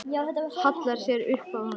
Hallar sér upp að honum.